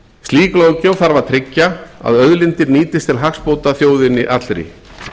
slík löggjöf þarf að tryggja að auðlindir nýtist til hagsbóta þjóðinni allri